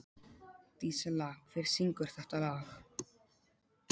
Dísella, hver syngur þetta lag?